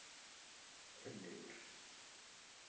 Örlygur